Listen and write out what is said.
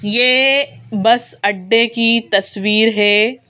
ये बस अड्डे की तस्वीर है।